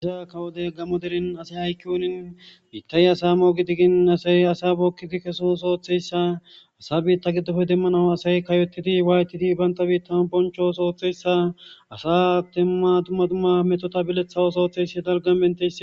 Ba kawo deren gaammo deren asay hayqqiyoorin biiththay asaa moogidigin asay asaa bookkidi keso ooso ooththeyssa; isa asaa biiththa giddope demmanawu asay kayoththidi waathidi banththa biiththan bonchcho ooso ooththeyssa asaa dumma dumma methotha bileththa ooso ooththes.